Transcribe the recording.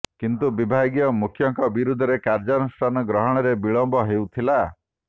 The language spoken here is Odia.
କିନ୍ତୁ ବିଭାଗୀୟ ମୁଖ୍ୟଙ୍କ ବିରୋଧରେ କାର୍ଯ୍ୟାନୁଷ୍ଠାନ ଗ୍ରହଣରେ ବିଳମ୍ୱ ହେଉଥିଲା